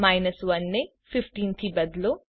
1 ને 15 થી બદલો